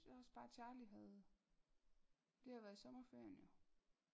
Jeg synes også bare Charlie havde det har været i sommerferien jo